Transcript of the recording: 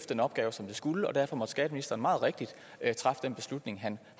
den opgave som det skulle og derfor måtte skatteministeren meget rigtigt træffe den beslutning han